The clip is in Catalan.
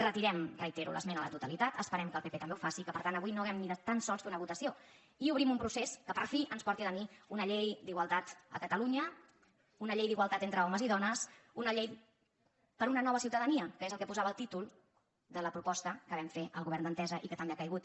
re·tirem ho reitero l’esmena a la totalitat esperem que el pp també ho faci i que per tant avui no hàgim ni de tan sols fer una votació i obrim un procés que per fi ens porti a tenir una llei d’igualtat a catalunya una llei d’igualtat entre homes i dones una llei per una nova ciutadania que és el que posava el títol de la proposta que vam fer al govern d’entesa i que també ha caigut